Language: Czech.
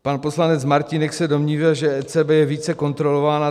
Pan poslanec Martínek se domnívá, že ECB je více kontrolována.